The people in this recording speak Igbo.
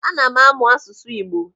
Ana m amụ asụsụ Igbo.